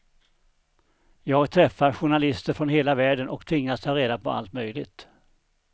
Jag träffar journalister från hela världen och tvingas ta reda på allt möjligt.